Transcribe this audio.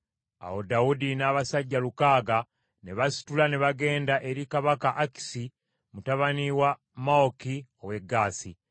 Awo Dawudi n’abasajja lukaaga ne basitula ne bagenda eri kabaka Akisi mutabani wa Mawoki ow’e Gaasi.